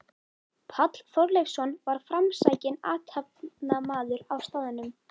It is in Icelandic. Páll Þorleifsson var framsækinn athafnamaður á staðnum.